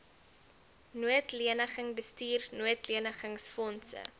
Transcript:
noodleniging bestuur noodlenigingsfondse